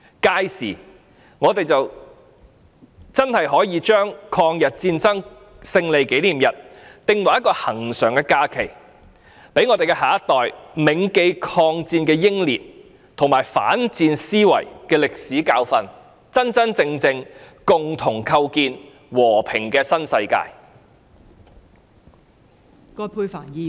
屆時，我們才應將抗日戰爭勝利紀念日訂為一個恆常假期，讓我們的下一代銘記抗戰的英烈和反思戰爭的歷史教訓，共同構建和平的新世界。